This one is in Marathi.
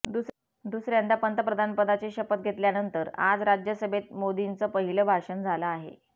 दुसऱ्यांदा पंतप्रधान पदाची शपथ घेतल्यानंतर आज राज्यसभेत मोदींचं पहिलं भाषण झालं आहे